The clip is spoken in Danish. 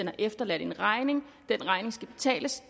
har efterladt en regning som skal betales